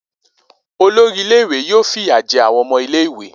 Olori ile-iwe yoo fi iya jẹ awọn ọmọ ile-iwe.